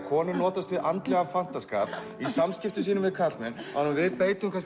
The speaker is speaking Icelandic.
konan notast við andlegan fantaskap í samskiptum sínum við karlmenn en við beitum